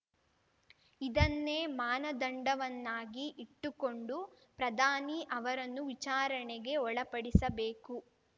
ಇದನ್ನೇ ಮಾನದಂಡವನ್ನಾಗಿ ಇಟ್ಟುಕೊಂಡು ಪ್ರಧಾನಿ ಅವರನ್ನು ವಿಚಾರಣೆಗೆ ಒಳಪಡಿಸಬೇಕು